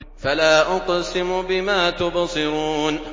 فَلَا أُقْسِمُ بِمَا تُبْصِرُونَ